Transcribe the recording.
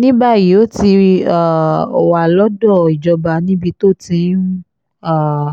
ní báyìí ó ti um wà lọ́dọ̀ ìjọba níbi tó ti ń um